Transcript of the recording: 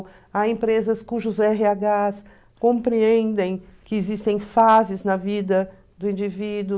Há empresas cujos erre agas compreendem que existem fases na vida do indivíduo.